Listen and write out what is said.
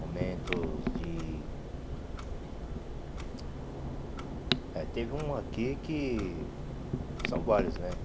Momentos de... é, Teve um aqui que... São vários, né?